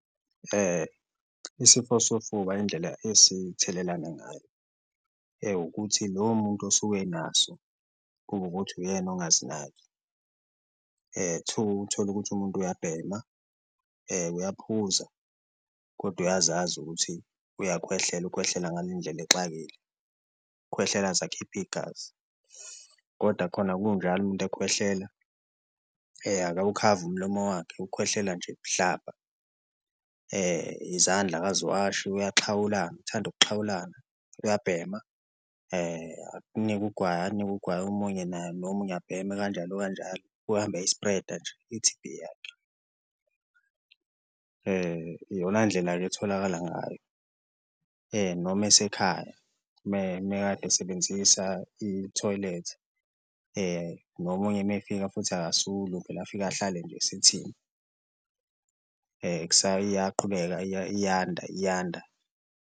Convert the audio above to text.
Isifo sofuba indlela esithelelana ngayo ukuthi lowo muntu osuke enaso kuba ukuthi uyena ongazinaki two, uthole ukuthi umuntu uyabhema, uyaphuza kodwa uyazazi ukuthi uyakhwehlela ukhwehlela ngale ndlela exakile, ukhwehlela aze akhiphe igazi. Koda khona kunjalo umuntu ekhwehlela akawukhavi umlomo wakhe ukhwehlela nje budlabha, izandla akaziwashi, uyaxhawulana uthanda ukuxhawulana, uyabhema akunike ugwayi anike ugwayi omunye naye nomunye uyabheme kanjalo kanjalo uhamba eyi-spread-a nje i-T_B yakhe. Iyona ndlela-ke etholakala ngayo noma esekhaya mekade esebenzisa ithoyilethi nomunye mefika futhi akasuli uvele afike ahlale nje esithini, iyaqhubeka iyanda, iyanda.